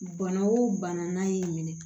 Bana o bana n'a y'i minɛ